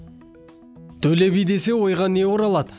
төле би десе ойға не оралады